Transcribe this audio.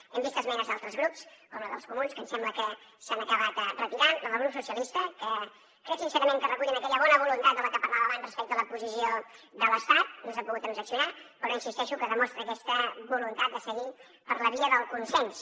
hem vist esmenes d’altres grups com les dels comuns que ens sembla que s’han acabat retirant o la del grup socialistes que crec sincerament que recullen aquella bona voluntat de la que parlava abans respecte a la posició de l’estat no s’han pogut transaccionar però hi insisteixo que demostra aquesta voluntat de seguir per la via del consens